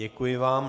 Děkuji vám.